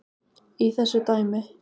í þessu dæmi.